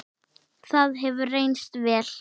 það hefur reynst vel.